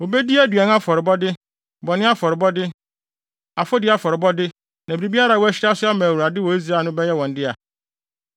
Wobedi aduan afɔrebɔde, bɔne afɔrebɔde, afɔdi afɔrebɔde, na biribiara a wɔahyira so ama Awurade wɔ Israel no bɛyɛ wɔn dea.